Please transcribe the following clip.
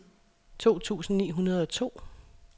to tusind ni hundrede og to